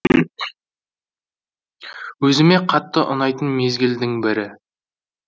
өзіме қатты ұнайтын мезгілдің бірі